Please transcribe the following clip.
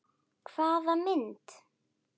Hvaða mynd?